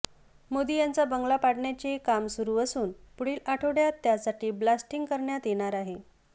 मोदी यांचा बंगला पाडण्याचे काम सुरू असून पुढील आठवड्यात त्यासाठी ब्लास्टिंग करण्यात येणार आहे